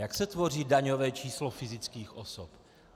Jak se tvoří daňové číslo fyzických osob?